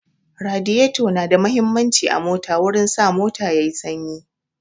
Radiyato na da muhimmanci a mota wurin sa mota yayi sanyi